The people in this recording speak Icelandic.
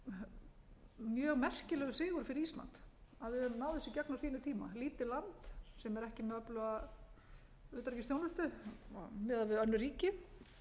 sé mjög merkilegur sigur fyrir ísland að við höfum náð þessu í gegn á sínum eiga lítið land sem er ekki með öfluga utanríkisþjónustu miðað við önnur ríki